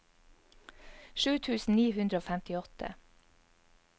sju tusen ni hundre og femtiåtte